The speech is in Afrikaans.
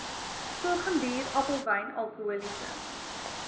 sorghumbier appelwyn alkoholiese